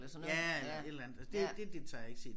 Eller sådan noget et eller andet det det det tager jeg ikke til